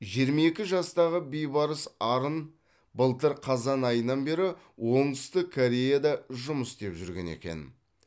жиырма екі жастағы бейбарыс арын былтыр қазан айынан бері оңтүстік кореяда жұмыс істеп жүрген екен